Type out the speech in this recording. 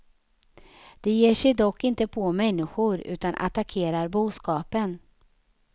De ger sig dock inte på människor utan attackerar boskapen.